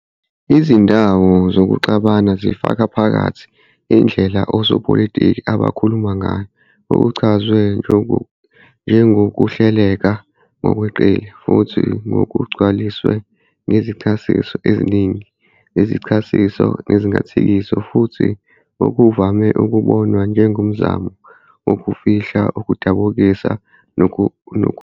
Izindawo zokuxabana zifaka phakathi indlela osopolitiki abakhuluma ngayo, okuchazwe njengokuhleleka ngokweqile futhi kugcwaliswe ngezichasiso eziningi zezichasiso nezingathekiso futhi okuvame ukubonwa njengomzamo "wokufihla, ukudukisa, nokudida".